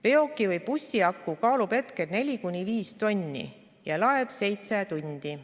Veoki või bussi aku kaalub hetkel 4-5 tonni ja laeb 7 tundi.